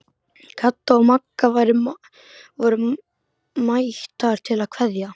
Kata og Magga voru mættar til að kveðja.